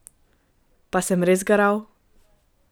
Pa sem res garal?